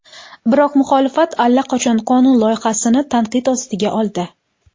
Biroq muxolifat allaqachon qonun loyihasini tanqid ostiga oldi.